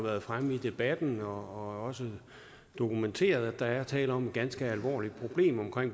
været fremme i debatten og også dokumenteret at der er tale om et ganske alvorligt problem med